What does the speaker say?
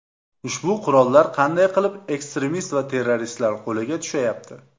Ushbu qurollar qanday qilib ekstremist va terroristlar qo‘liga tushayapti?